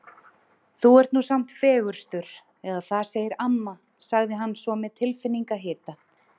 Þú ert nú samt fegurstur eða það segir amma sagði hann svo með tilfinningahita.